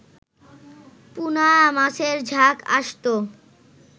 পুনা মাছের ঝাঁক আসত